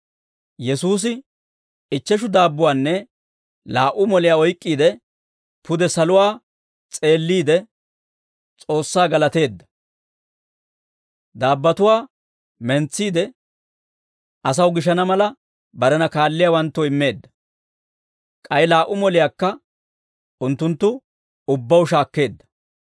Yesuusi ichcheshu daabbuwaanne laa"u moliyaa oyk'k'iide, pude saluwaa s'eelliide, S'oossaa galateedda; daabbotuwaa mentsiide asaw gishana mala, barena kaalliyaawanttoo immeedda; k'ay laa"u moliyaakka unttunttu ubbaw shaakkeedda.